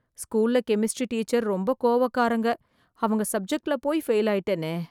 ஸ்கூல்ல chemistry teacher ரொம்ப கோவக்காரங்க, அவங்க சப்ஜெக்ட்ல போய் ஃபெயில் ஆயிட்டேனே.